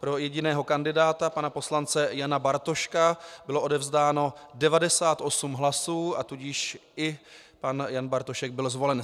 Pro jediného kandidáta, pana poslance Jana Bartoška, bylo odevzdáno 98 hlasů, a tudíž i pan Jan Bartošek byl zvolen.